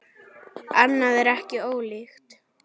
Annað er ekki ólíkt.